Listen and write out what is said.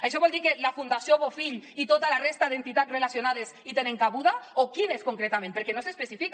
això vol dir que la fundació bofill i tota la resta d’entitats relacionades hi tenen cabuda o quines concretament perquè no s’especifica